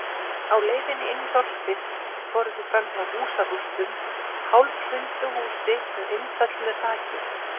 Á leiðinni inn í þorpið fóru þau fram hjá húsarústum, hálfhrundu húsi með innföllnu þaki.